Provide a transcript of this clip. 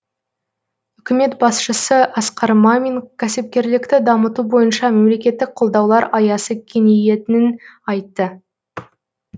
үкімет басшысы асқар мамин кәсіпкерлікті дамыту бойынша мемлекеттік қолдаулар аясы кеңейетінін айтты